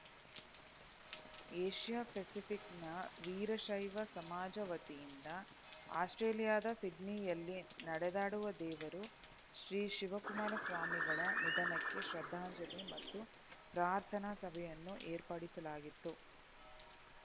Asia ಫೆಸಿಫಿಕ್‌ನ ವೀರಶೈವ ಸಮಾಜ ವತಿಯಿಂದ ಆಸ್ಪ್ರೇಲಿಯಾದ ಸಿಡ್ನಿಯಲ್ಲಿ ನಡೆದಾಡುವ ದೇವರು ಶ್ರೀ ಶಿವಕುಮಾರಸ್ವಾಮಿಗಳ ನಿಧನಕ್ಕೆ ಶ್ರದ್ಧಾಂಜಲಿ ಮತ್ತು ಪ್ರಾರ್ಥನಾ ಸಭೆಯನ್ನು ಏರ್ಪಡಿಸಲಾಗಿತ್ತು